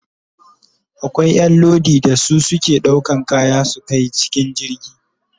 Akwai Ƴan Lodi da su suke ɗaukan kaya su Kai cikin jirgi